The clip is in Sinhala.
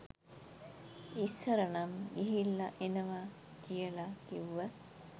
ඉස්සර නම් ගිහිල්ල එනව කියල කිව්ව